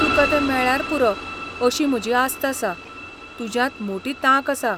तुकां तें मेळ्ळ्यार पुरो अशी म्हजी आस्त आसा, तुज्यांत मोटी तांक आसा.